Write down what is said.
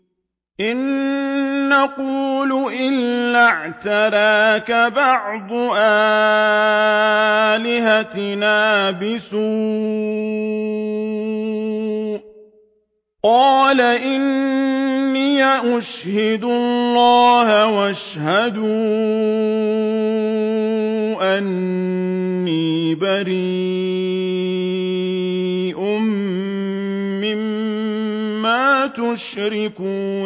إِن نَّقُولُ إِلَّا اعْتَرَاكَ بَعْضُ آلِهَتِنَا بِسُوءٍ ۗ قَالَ إِنِّي أُشْهِدُ اللَّهَ وَاشْهَدُوا أَنِّي بَرِيءٌ مِّمَّا تُشْرِكُونَ